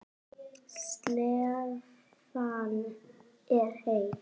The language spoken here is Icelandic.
Slefan er heit.